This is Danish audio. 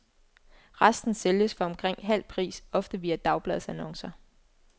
Resten sælges for omkring halv pris, ofte via dagbladsannoncer.